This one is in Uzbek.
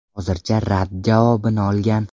Hozircha rad javobini olgan.